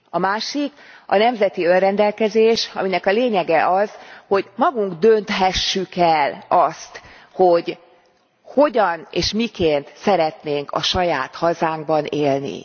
A másik a nemzeti önrendelkezés, aminek a lényege az, hogy magunk dönthessük el, hogy hogyan és miként szeretnénk a saját hazánkban élni.